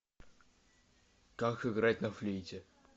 как играть на флейте